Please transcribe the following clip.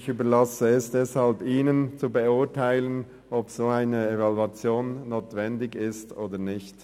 Ich überlasse es deshalb Ihnen, zu beurteilen, ob eine solche Evaluation notwendig ist oder nicht.